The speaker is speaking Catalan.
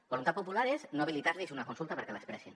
voluntat popular és no habilitar los una consulta perquè l’expressin